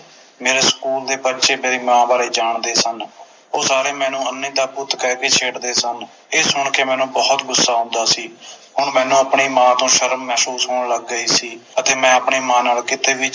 ਮੇਰੇ ਸਕੂਲ ਦੇ ਬੱਚੇ ਮੇਰੀ ਮਾਂ ਬਾਰੇ ਜਾਣਦੇ ਸਨ ਉਹ ਸਾਰੇ ਮੈਨੂੰ ਅੰਨ੍ਹੀ ਦਾ ਪੁੱਤ ਕਹਿ ਕੇ ਛੇੜਦੇ ਸਨ ਇਹ ਸੁਣ ਕੇ ਮੈਨੂੰ ਬੋਹੋਤ ਗੁੱਸਾ ਆਉਂਦਾ ਸੀ